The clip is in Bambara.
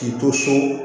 K'i to so